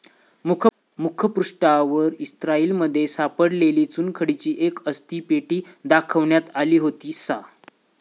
मुखपृष्ठावर, इस्राएलमध्ये सापडलेली चुनखडीची एक अस्थि पेटी दाखवण्यात आली होती. सा.